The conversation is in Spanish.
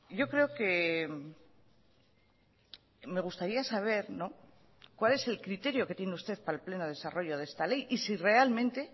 yo creo que me gustaría saber cuál es el criterio que tiene usted para el pleno desarrollo de esta ley y si realmente